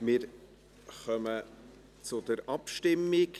Wir kommen zur Abstimmung.